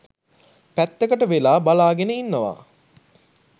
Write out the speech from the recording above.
පැත්තකට වෙලා බලාගෙන ඉන්නවා.